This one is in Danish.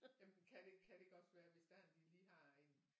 Jamen kan det kan det ikke også være hvis det er de lige har en